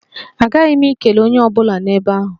Aghaghị m ikele onye ọ bụla nọ ebe ahụ.